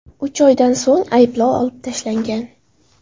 Uch oydan so‘ng ayblov olib tashlangan.